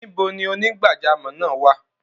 Níbẹ̀ ni onígbàjàmọ́ náà wà?